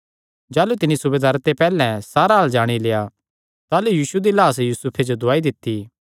जाह़लू तिन्नी सूबेदारे ते पैहल्लैं सारा हाल जाणी लेआ ताह़लू यीशु दी लाह्स यूसुफे जो दुआई दित्ती